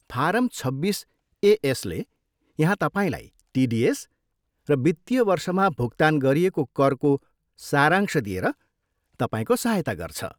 Form छब्बिस एएसले यहाँ तपाईँलाई टिडिएस र वित्तीय वर्षमा भुक्तान गरिएको करको सारांश दिएर तपाईँको सहायता गर्छ।